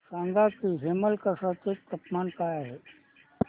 सांगा की हेमलकसा चे तापमान काय आहे